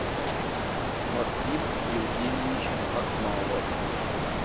максим евгеньевич акмалов